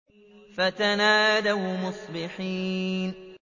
فَتَنَادَوْا مُصْبِحِينَ